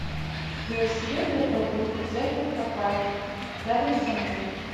велосипед для прогулки взять напрокат рядом со мной